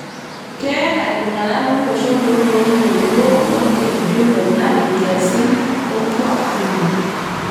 Keeta ltung'ana lo losho loloontoluo lolkeju le Nile nkiasin olkuak kumok